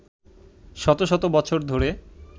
শত শত বছর ধরে